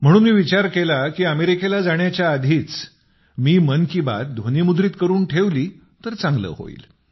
म्हणून मी विचार केला की अमेरिकेला जाण्याच्या आधीच मी मन की बात ध्वनिमुद्रित करून ठेवली तर चांगलं होईल